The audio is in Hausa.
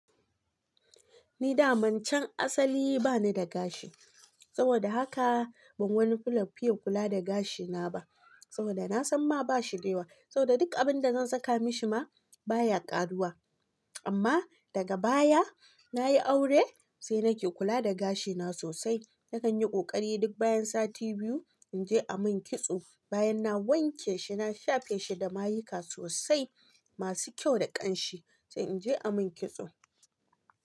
Ni daman can asali ba ni da gashi, saboda haka ban wani fulafiya kula da gashina ba saboda na san ma ba shi da yawa. Saboda duk abin da zan saka mishi ma baya ƙaruwa. Amma daga baya nayi aure sai nake kula da gashina sosai. Nakan yi ƙoƙari duk bayan sati biyu in je a mun kitso. Bayan na wanke shi, na shafe shi da mayika sosai masu kyau da ƙanshi sai in je a mun kitso.